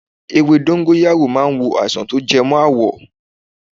Ewé dọ́ńgóráyò ma ń wo àìsàn tó jẹ mọ́ àwọ̀.